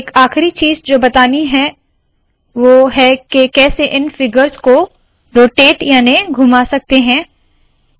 एक आखरी चीज़ जो बतानी है है वोह है के कैसे इन फिगर्स को रोटेट याने के घुमा सकते है